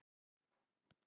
Það datt.